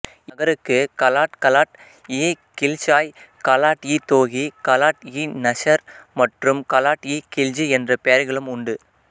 இந்நகருக்கு கலாட் கலாட்இகில்ஸாய் கலாட்இதோகி கலாட்இநஸர் மற்றும் கலாட்இகில்ஜி என்ற பெயர்களும் உண்டு